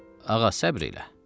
Ağa, səbr elə.